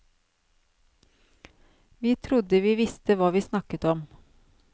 Vi trodde vi visste hva vi snakket om.